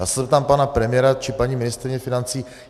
Já se zeptám pana premiéra či paní ministryně financí.